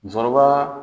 Musokɔrɔba